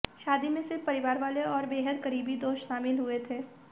शादी में सिर्फ परिवाले और बेहद करीबी कुछ दोस्त ही शामिल हुए थे